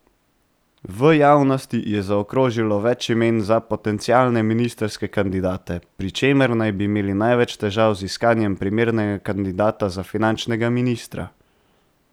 V javnosti je zakrožilo več imen za potencialne ministrske kandidate, pri čemer naj bi imeli največ težav z iskanjem primernega kandidata za finančnega ministra.